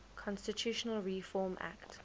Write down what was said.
constitutional reform act